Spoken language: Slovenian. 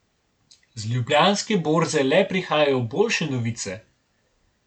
Z Ljubljanske borze le prihajajo boljše novice.